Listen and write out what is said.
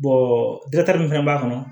min fana b'a kɔnɔ